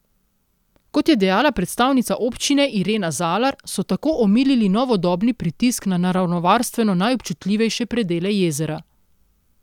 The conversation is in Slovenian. Kot je dejala predstavnica občine Irena Zalar, so tako omilili novodobni pritisk na naravovarstveno najobčutljivejše predele jezera.